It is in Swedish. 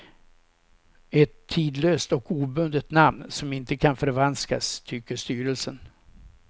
Ett tidlöst och obundet namn som inte kan förvanskas, tycker styrelsen.